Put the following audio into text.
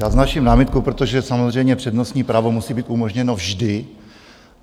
Já vznáším námitku, protože samozřejmě přednostní právo musí být umožněno vždy.